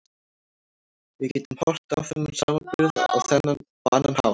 Við getum horft á þennan samburð á annan hátt.